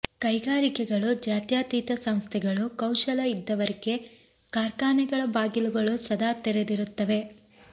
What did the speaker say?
ಕೈಗಾರಿಕೆಗಳು ಜಾತ್ಯತೀತ ಸಂಸ್ಥೆೆಗಳು ಕೌಶಲ ಇದ್ದವರಿಗೆ ಕಾರ್ಖಾನೆಗಳ ಬಾಗಿಲುಗಳು ಸದಾ ತೆರೆದಿರುತ್ತವೆ